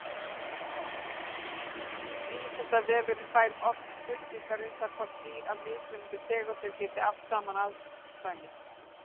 Vísindavefurinn fær oft spurningar um það hvort dýr af mismunandi tegundum geti átt saman afkvæmi.